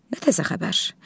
Nə təzə xəbər?